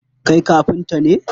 Kai kafnta ne?